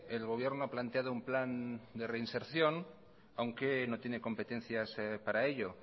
el gobierno ha planteado un plan de reinserción aunque no tiene competencias para ello